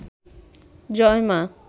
জয় মা